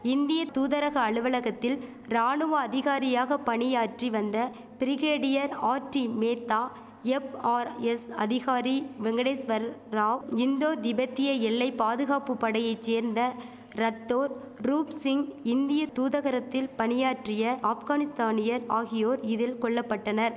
இந்திய தூதரக அலுவலத்தில் ராணுவ அதிகாரியாக பணியாற்றி வந்த பிரிகேடியர் ஆர்டி மேத்தா எப்ஆர்எஸ் அதிகாரி வெங்கடேஸ்வர் ராவ் இந்தோ திபெத்திய எல்லை பாதுகாப்பு படையை சேர்ந்த ரத்தோர் ரூப் சிங் இந்திய தூதகரத்தில் பணியாற்றிய ஆப்கானிஸ்தானியர் ஆகியோர் இதில் கொல்லபட்டனர்